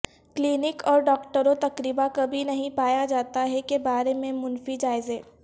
clinic اور ڈاکٹروں تقریبا کبھی نہیں پایا جاتا ہے کے بارے میں منفی جائزے